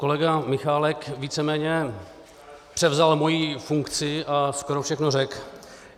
Kolega Michálek víceméně převzal mou funkci a skoro všechno řekl.